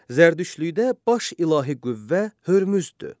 Zərdüştlükdə baş ilahi qüvvə Hörmüzdür.